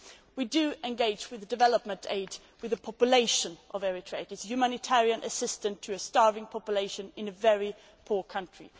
We do engage through development aid with the population of Eritrea. This is humanitarian assistance to a starving population in a very poor country.